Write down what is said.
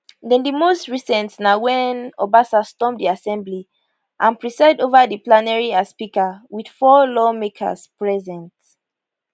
den di most recent na wen obasa storm di assembly and preside ova di plenary as speaker wit four lawmakers present